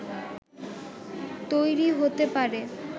তৈরি হতে পারে